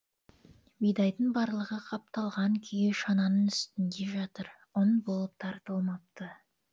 бидайдың барлығы қапталған күйі шананың үстінде жатыр ұн болып тартылмапты